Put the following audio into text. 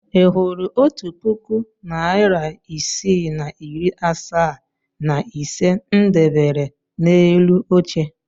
Ị hụrụ otu puku naịra isii na iri asaa na ise m debere n'elu oche?